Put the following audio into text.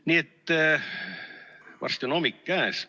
Nii et varsti on hommik käes.